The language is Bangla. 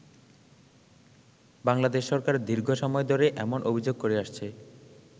বাংলাদেশ সরকার দীর্ঘ সময় ধরে এমন অভিযোগ করে আসছে।